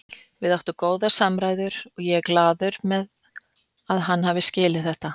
Við áttum góðar samræður og ég er glaður með að hann hafi skilið þetta.